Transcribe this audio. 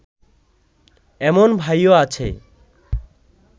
এমন ভাইও আছে